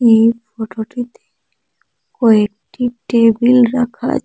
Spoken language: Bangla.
এই ফটোটিতে কয়েকটি টেবিল রাখা আছে।